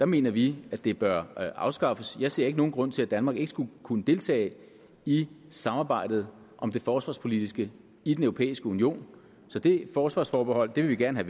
mener vi at det bør afskaffes jeg ser ikke nogen grund til at danmark ikke skulle kunne deltage i samarbejdet om det forsvarspolitiske i den europæiske union så det forsvarsforbehold vil vi gerne